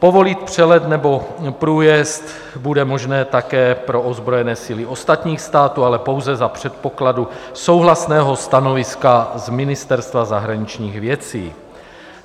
Povolit přelet nebo průjezd bude možné také pro ozbrojené síly ostatních států, ale pouze za předpokladu souhlasného stanoviska z Ministerstva zahraničních věcí.